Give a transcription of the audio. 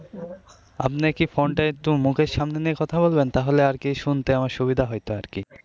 আপনি কি ফোন টা একটু মুখের সামনে নিয়ে কথা বলবেন তাহলে আর কি শুনতে আমার সুবিধা হয়তো আর কি.